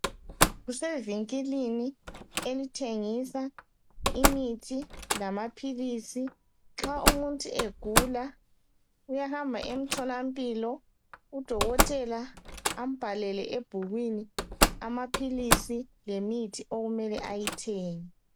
Kusevinkilini, elithengisa imithi lamaphilisi. Nxa umuntu egula, uyahamba emtholampilo. Udokotela ambhalele ebhukwini, amaphilisi, lemithi, okumele ayithenge.